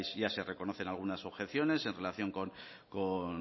ya se reconocen algunas objeciones en relación con